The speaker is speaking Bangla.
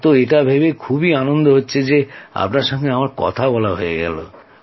আমার তো এটা ভেবেই খুব আনন্দ হচ্ছে যে আপনার সঙ্গে কথা হয়ে গেল